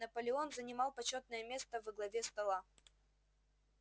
наполеон занимал почётное место во главе стола